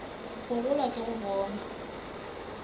go gola ke go bona